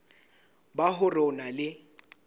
ba hore o na le